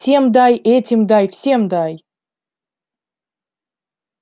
тем дай этим дай всем дай